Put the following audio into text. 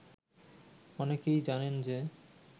অনেকেই জানেন যে